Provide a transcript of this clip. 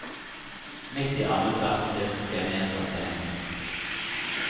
Midt i annet vers styrtet jeg ned fra scenen.